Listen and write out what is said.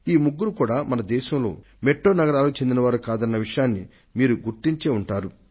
వీరు ముగ్గురు మన దేశంలోని మహా నగరాల నుండి వచ్చిన వారు కాదు అన్న సంగతిని మీరు గమనించే ఉంటారు